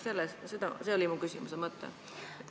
See oli mu küsimuse mõte.